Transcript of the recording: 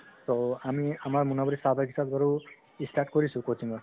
ত আমি আমাৰ মুনাবাৰি চাহবাগিচাত বাৰু ই start কৰিছো coaching ৰ